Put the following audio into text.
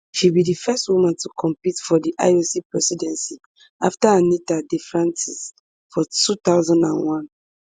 she be di first woman to compete for di ioc presidency afta anita defrantz for two thousand and one